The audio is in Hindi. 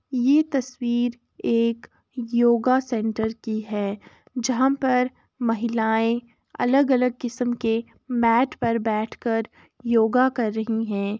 ये तस्वीर एक योगा सेंटर की है जहाँ पर महिलाएं अलग अलग किसम के मैट पर बैठ कर योगा कर रही हैं |